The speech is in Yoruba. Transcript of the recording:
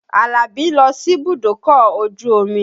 Àlàbí ń lọ síbùdókọ̀ ojú omi